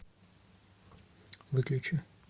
выключи